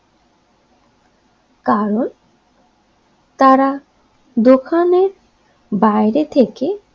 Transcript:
কারন তারা দোকানের বাইরে থেকে